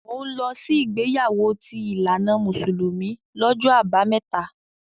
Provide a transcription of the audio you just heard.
Mò ń lọ sí ìgbéyàwó ti ìlànà mùsùlùmí lọ́jọ́ Àbámẹ́ta.